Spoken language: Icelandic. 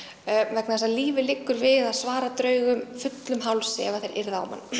vegna þess að lífið liggur við að svara draugum fullum hálsi ef þeir yrða á mann